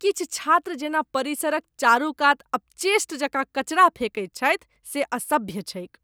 किछु छात्र जेना परिसरक चारूकात अपचेष्ट जकाँ कचरा फेकैत छथि से असभ्य छैक ।